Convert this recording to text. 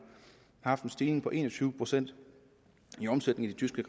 har stigning på en og tyve procent i omsætning i de tyske